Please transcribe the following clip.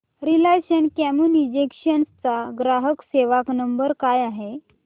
Reliance Communications चा ग्राहक सेवा नंबर काय आहे